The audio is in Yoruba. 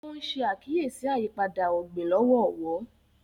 o n ṣe àkíyèsí ayípadà ogbin lọwọlọwọ